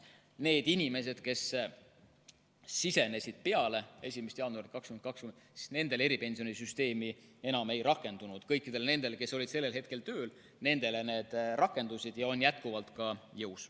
Nende inimeste puhul, kes sisenesid peale 1. jaanuari 2020, eripensionisüsteem enam ei rakendunud, kõikide nende puhul, kes olid sel hetkel tööl, rakendus ja on jätkuvalt jõus.